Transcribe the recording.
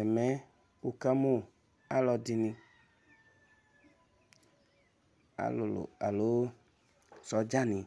Ɛmɛ ukamu alu ɛdɩnɩ, alulu alo sɔdza ni